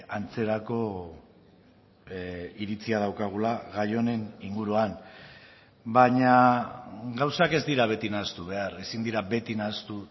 antzerako iritzia daukagula gai honen inguruan baina gauzak ez dira beti nahastu behar ezin dira beti nahastu